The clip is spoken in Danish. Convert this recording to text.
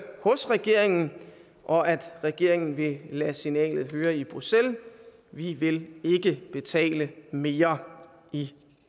hos regeringen og at regeringen vil lade signalet høre i bruxelles vi vil ikke betale mere i